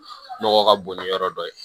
Nɔgɔ ka bon ni yɔrɔ dɔ ye